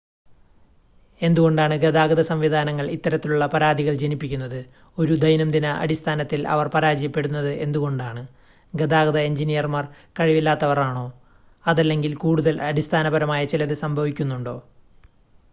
എന്തുകൊണ്ടാണ് ഗതാഗത സംവിധാനങ്ങൾ ഇത്തരത്തിലുള്ള പരാതികൾ ജനിപ്പിക്കുന്നത് ഒരു ദൈനംദിന അടിസ്ഥാനത്തിൽ അവർ പരാജയപ്പെടുന്നത് എന്തുകൊണ്ടാണ് ഗതാഗത എഞ്ചിനീയർമാർ കഴിവില്ലാത്തവർ ആണോ അതല്ലെങ്കിൽ കൂടുതൽ അടിസ്ഥാനപരമായ ചിലത് സംഭവിക്കുന്നുണ്ടോ